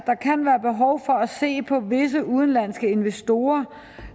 se på visse udenlandske investorer